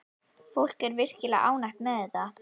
Fólk er virkilega ánægt með þetta.